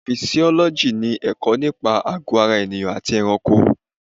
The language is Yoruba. Fisiọ́lọ́jì ni ẹ̀kọ́ nípa àgọ́ ara ènìyàn àti ẹranko.